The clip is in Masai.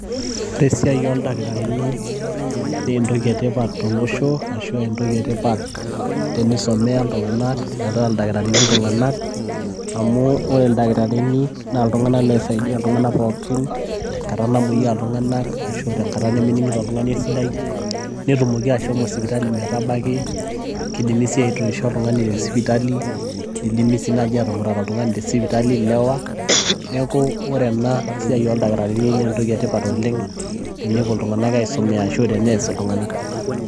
ore esiai oldakitarini naa esiai etipat oleng' tolosho ashu entoki etipat teneisomea iltung'anak amu ore ildakitarini naa iltung'anak oisaidia iltung'anak pooki tengata namoyia iltung'anak ashu enkata nemening'ito oltung'ani esidai, netumoki ashomo sipitali metabaki , naa ketumokini sii aitoisho oltung'ani , nidimi sii naaji atumurat ilewa tesipitali, neeku ore esiai ooldakitarini naa entoki sidai oleng'.